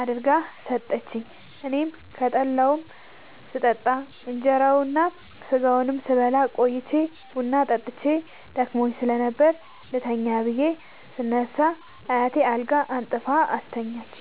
አድርጋ ሠጠችኝ። አኔም ከጠላዉም ስጠጣ ከእንራዉና ከስጋዉም ስበላ ቆይቼ ቡና ጠጥቼ ደክሞኝ ስለነበር ልተኛ ብየ ስነሳ አያቴ አልጋ አንጥፋ አስተኛችኝ።